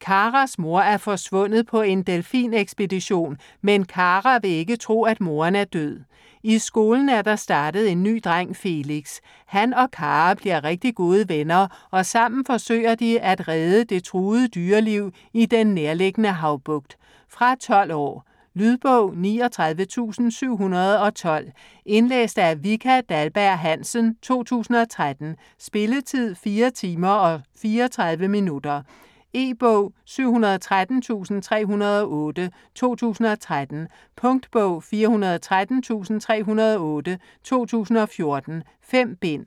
Karas mor er forsvundet på en delfinekspedition, men Kara vil ikke tro, at moderen er død. I skolen er der startet en ny dreng, Felix. Han og Kara bliver rigtig gode venner, og sammen forsøger de at redde det truede dyreliv i den nærliggende havbugt. Fra 12 år. Lydbog 39712 Indlæst af Vika Dahlberg-Hansen, 2013. Spilletid: 4 timer, 34 minutter. E-bog 713308 2013. Punktbog 413308 2014. 5 bind.